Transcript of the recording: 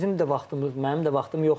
Bizim də vaxtımız, mənim də vaxtım yoxdur.